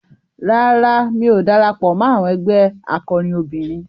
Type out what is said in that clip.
Rárá, mi ò darapọ̀ mọ́ àwọn ẹgbé akọrin obìnrin.